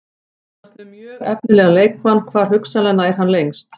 Þú ert með mjög efnilegan leikmann, hvar hugsanlega nær hann lengst?